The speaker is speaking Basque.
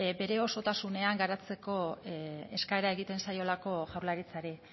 bere osotasunean garatzeko eskaera egiten zaiolako jaurlaritzari